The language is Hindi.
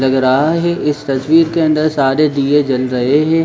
लग रहा है इस तस्वीर के अंदर सारे दीये जल रहे हैं।